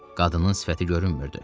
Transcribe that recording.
Qadının sifəti görünmürdü.